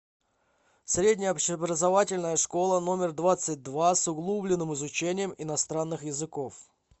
средняя общеобразовательная школа номер двадцать два с углубленным изучением иностранных языков